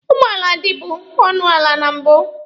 Ụgbọala dibu ọnụ ala na mbụ.